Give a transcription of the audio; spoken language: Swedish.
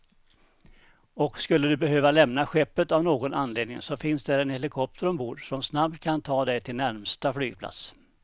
Och skulle du behöva lämna skeppet av någon anledning så finns där en helikopter ombord, som snabbt kan ta dig till närmsta flygplats.